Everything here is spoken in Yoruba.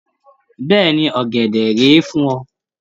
Bẹ́ẹ̀ni. Ọ̀gẹ̀dẹ̀ rèé fún ẹ.